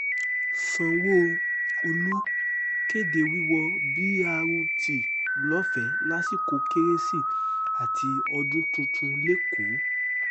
sanwó-olu kéde wíwo b rt lọ́fẹ̀ẹ́ lásìkò kérésì àti ọdún tuntun lẹ́kọ̀ọ́